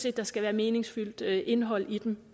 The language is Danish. at der skal være et meningsfuldt indhold i dem